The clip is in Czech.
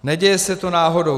Neděje se to náhodou.